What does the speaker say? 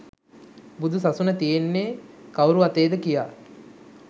බුදු සසුන තියෙන්නේ කවුරු අතේද කියා